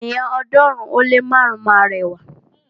Ènìyàn ọ̀ọ́dúnrún ó lé márùn máa ra ẹ̀wà.